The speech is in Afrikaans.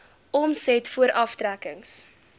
omset voor aftrekkings